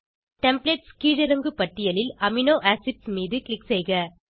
templates கீழிறங்கு பட்டியலில் amino acids மீது க்ளிக் செய்க